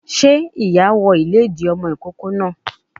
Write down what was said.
Sé ìyá wọ ìlédìí ọmọ ìkókó náà